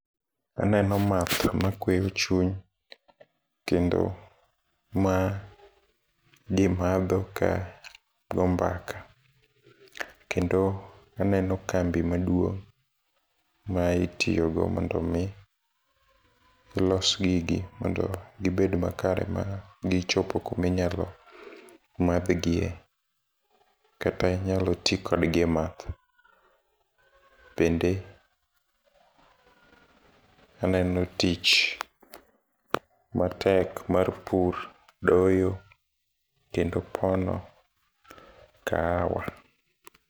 Aneno math makweyo chuny , kendo ma jii madho ka go mbaka kendo aneno kambi maduong' ma itiyo go mondo mi los gigi mondo gibed makare ma gichop kumi nyalo madh gie, kata inyalo tii kodgi e math. Bende aneno tich matek mar pur, doyo kendo pono kahawa.